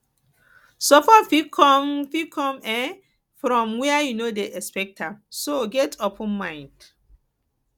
support fit come fit come um from where you no dey expect am so get open mind